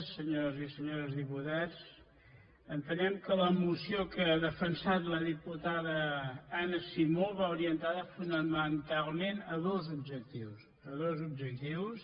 senyores i senyors diputats entenem que la moció que ha defensat la diputada anna simó va orientada fonamentalment a dos objectius a dos objectius